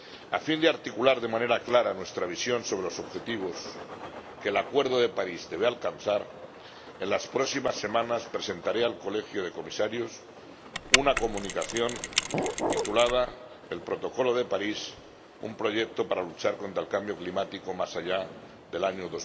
A fin de articular de manera clara nuestra visión sobre los objetivos que el acuerdo de París debe alcanzar, en las próximas semanas presentaré al Colegio de Comisarios una Comunicación titulada El protocolo de París, un proyecto para luchar contra el cambio climático más allá del año